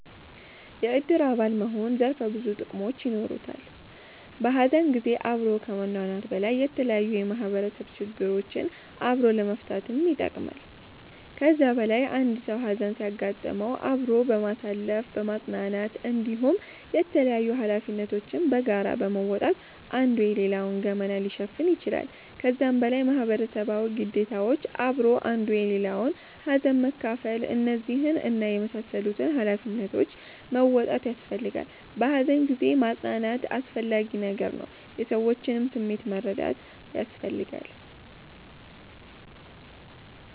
የእድር አባል መሆን ዘርፈ ብዙ ጥቅሞች የኖሩታል። በሀዘን ጊዜ አብሮ ከመኗኗር በላይ የተለያዩ የማህበረሰብ ችግሮችን አብሮ ለመፈታትም ይጠቅማል። ከዛ በላይ አንድ ሰዉ ሀዘን ሲያጋጥመዉ አብሮ በማሳለፍ በማፅናናት እንዲሁም የተላያዩ ሀላፊነቶችን በጋራ በመወጣት አንዱ የሌላዉን ገመና ሊሸፍን ይችላል። ከዛም በላይ ማህበረሰባዊ ግዴታዎች አብሮ አንዱ የሌላዉን ሀዘን መካፍል እነዚህን እና የመሳሰሉትን ሃላፊነቶች መወጣት ያሰፈልጋላ። በሃዘን ጊዜ ማፅናናት አስፈላጊ ነገር ነዉ። የሰዎችንም ስሜት መረዳት ያስፈልጋል